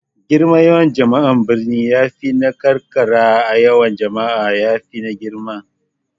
Girman yawan jama'a a birane ya fi na karkara yawa kuma ya fi girma.